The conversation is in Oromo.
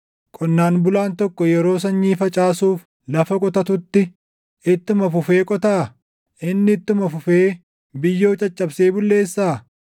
Qonnaan bulaan tokko yeroo sanyii facaasuuf lafa qotatutti, // ittuma fufee qotaa? Inni ittuma fufee biyyoo caccabsee bulleessaa?